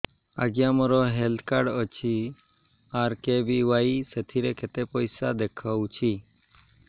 ଆଜ୍ଞା ମୋର health card ଅଛି ଆର୍.କେ.ବି.ୱାଇ ସେଥିରେ କେତେ ପଇସା ଦେଖଉଛି